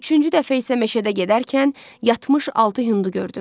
Üçüncü dəfə isə meşədə gedərkən yatmış altı hindi gördüm.